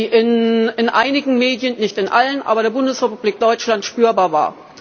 Ich mag die Häme nicht, die in einigen Medien nicht in allen der Bundesrepublik Deutschland spürbar war.